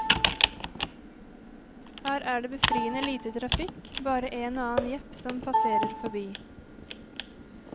Her er det befriende lite trafikk, bare en og annen jeep som passerer forbi.